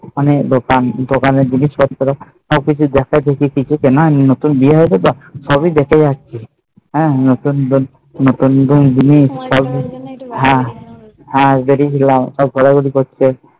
অনেক দোকান অনেক জিনিস পত্র সব কিছু দেখা দেখেছি কিছু কেনা হয় নি নতুন বিয়ে হৈছে তো সবই দেখে যাচ্ছি নতুন বৌ নতুন দিনে